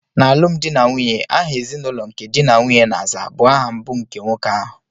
N'alụmdi na nwunye, aha ezinụlọ nke di na nwunye na-aza bụ aha mbụ nke nwoke ahụ.